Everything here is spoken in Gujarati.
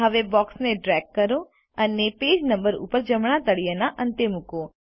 હવે બોક્સને ડ્રેગ કરો અને પેજ નંબર ઉપર જમણા તળિયેના અંતે મૂકો